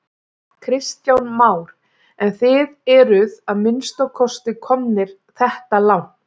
Kristján Már: En þið eruð að minnsta kosti komnir þetta langt?